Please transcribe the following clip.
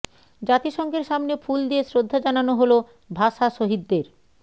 জাতিসংঘের সামনে ফুল দিয়ে শ্রদ্ধা জানানো হলো ভাষা শহীদদের